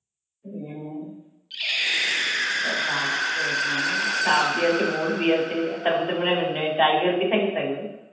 হম তা ভাবতে Hindi আছে, Hindi আছে, তারপর তো মনে হয় tiger Hindi থেকে থাকবে.